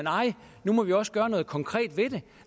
nu må vi også gøre noget konkret ved det